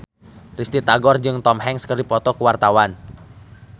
Risty Tagor jeung Tom Hanks keur dipoto ku wartawan